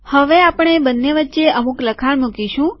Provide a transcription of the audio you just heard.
હવે આપણે આ બંને વચ્ચે અમુક લખાણ મુકીશું